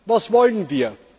Was wollen wir?